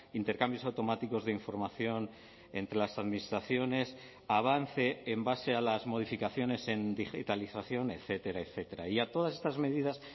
intercambios automáticos de información entre las administraciones avance en base a las modificaciones en digitalización etcétera etcétera y a todas estas medidas